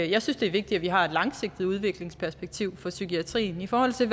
jeg synes det er vigtigt at vi har et langsigtet udviklingsperspektiv for psykiatrien i forhold til